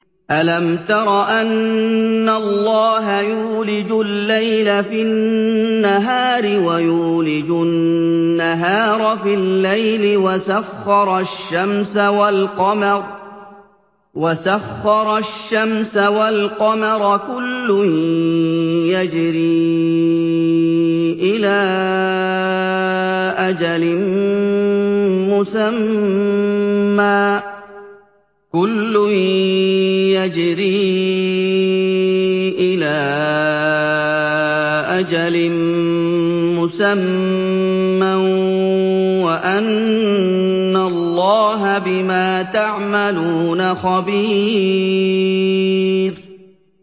أَلَمْ تَرَ أَنَّ اللَّهَ يُولِجُ اللَّيْلَ فِي النَّهَارِ وَيُولِجُ النَّهَارَ فِي اللَّيْلِ وَسَخَّرَ الشَّمْسَ وَالْقَمَرَ كُلٌّ يَجْرِي إِلَىٰ أَجَلٍ مُّسَمًّى وَأَنَّ اللَّهَ بِمَا تَعْمَلُونَ خَبِيرٌ